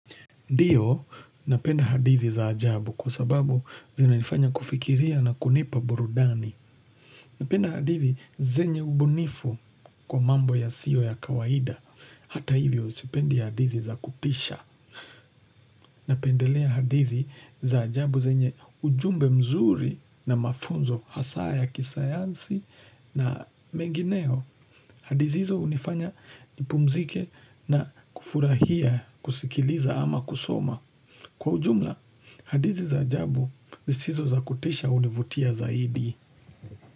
Ndiyo, napenda hadithi za ajabu kwa sababu zinanifanya kufikiria na kunipa burudani. Napenda hadithi zenye ubunifu kwa mambo yasiyo ya kawaida. Hata hivyo, sipendi hadithi za kutisha. Napendelea hadithi za ajabu zenye ujumbe mzuri na mafunzo hasa ya kisayansi na mengineo. Hadithi hizo hunifanya nipumzike na kufurahia, kusikiliza ama kusoma. Kwa ujumla, hadithi za ajabu zisizo za kutisha hunivutia zaidi.